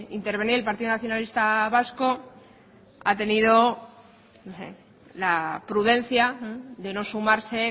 intervenir el partido nacionalista vasco ha tenido la prudencia de no sumarse